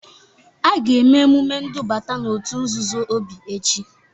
A ga-eme emume ndubata n'òtù nzuzo Obi echi.